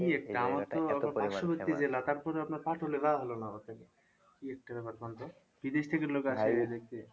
পার্শ্ববর্তি জেলা তারপরে আপনার যাওয়া হলো না বিদেশ থেকে লোক